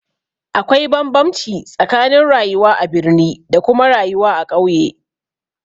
Akwai bambamci tsakanin rayuwa a birni da kuma rayuwa a ƙauye